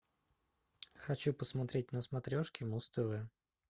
хочу посмотреть на смотрешке муз тв